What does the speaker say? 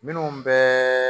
Minnu bɛɛ